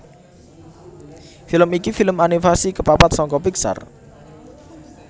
Film iki film animasi kapapat saka Pixar